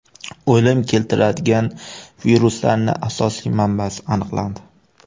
O‘lim keltiradigan viruslarning asosiy manbasi aniqlandi.